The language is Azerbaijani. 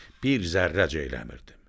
Bir zərrəcə eləmirdim.